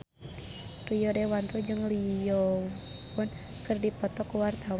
Rio Dewanto jeung Lee Yo Won keur dipoto ku wartawan